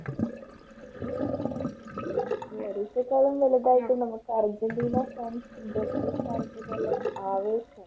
വലുതായിട്ട് നമുക്ക് Argentina fans Brazil fans ന്റെ എല്ലാം ആവേശം